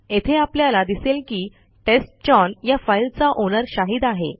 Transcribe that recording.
येथे आपल्याला दिसेल की टेस्टचाउन या फाईलचा ओनर शाहिद आहे